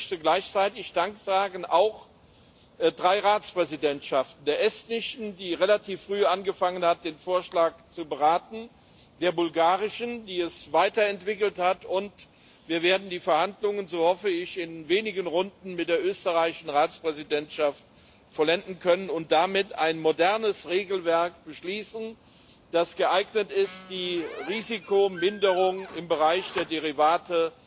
Ich möchte gleichzeitig auch drei Ratspräsidentschaften Dank sagen der estnischen, die relativ früh angefangen hat, den Vorschlag zu beraten, der bulgarischen, die ihn weiterentwickelt hat, und wir werden die Verhandlungen, so hoffe ich, in wenigen Runden mit der österreichischen Ratspräsidentschaft vollenden können und damit ein modernes Regelwerk beschließen, das geeignet ist, die Risikominderung im Bereich der Derivate